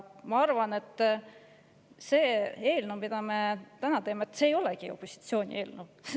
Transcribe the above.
Ma arvan, et see eelnõu, mida me täna, ei olegi opositsiooni eelnõu.